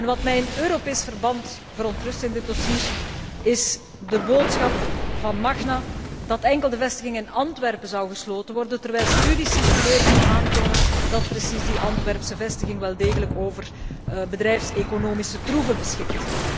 Wat mij in Europees verband verontrust in dit dossier, is de boodschap van Magna dat enkel de vestiging in Antwerpen gesloten zou worden, terwijl studies circuleren die aantonen dat precies die Antwerpse vestiging wel degelijk over bedrijfseconomische troeven beschikt.